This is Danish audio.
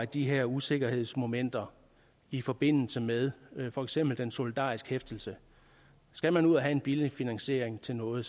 de her usikkerhedsmomenter i forbindelse med for eksempel den solidariske hæftelse skal man ud og have en billig finansiering til noget